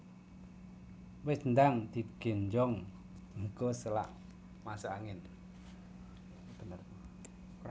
Wis ndang di genjong engko selak masuk angin